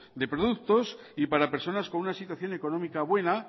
de productos y para personas con una situación económica buena